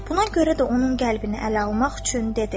Buna görə də onun qəlbini ələ almaq üçün dedi.